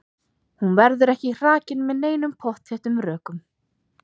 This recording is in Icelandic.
Hún verður ekki hrakin með neinum pottþéttum rökum.